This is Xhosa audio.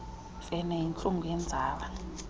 mfene yintlungu yenzala